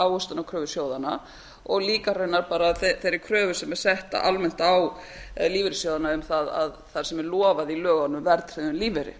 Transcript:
ávöxtunarkröfu sjóðanna og líka raunar bara þeirri kröfu sem er sett almennt á lífeyrissjóðina um það sem er lofað í lögunum verðtryggðum lífeyri